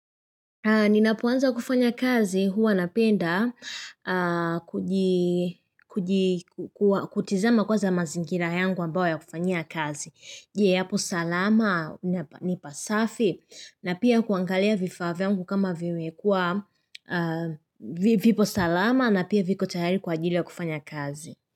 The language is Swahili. Ninapoanza kufanya kazi huwa napenda kutizama kwanza mazingira yangu ambayo ya kufanyia kazi. Je apo salama ni pa safi na pia kuangalia vifaa vyangu kama vimekuwa vipo salama na pia viko tayari kwa ajili ya kufanya kazi.